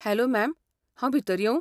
Hello ma'am, हांव भितर येवूं?